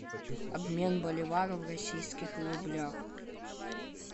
обмен боливара в российских рублях